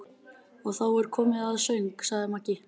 Og þá er komið að söng, sagði Maggi.